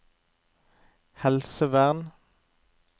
helsevern